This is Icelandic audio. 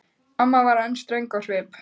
Amma var enn ströng á svip.